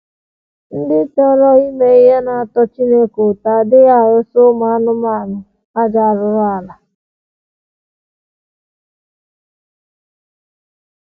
Ndị chọrọ ime ihe na - atọ Chineke ụtọ adịghị arụsa ụmụ anụmanụ ajọ arụrụala..